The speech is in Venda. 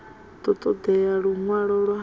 ḓo ṱo ḓea luṅwalo lwa